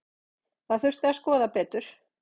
Þetta þurfi að skoða betur.